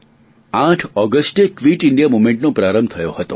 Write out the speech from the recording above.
આઠ ઓગસ્ટ એ quit India movement નો પ્રારંભ થયો હતો